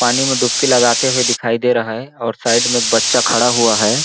पानी में डुबकी लगाते हुए दिखाई दे रहा है और साइड में बच्चा खड़ा हुआ हैं।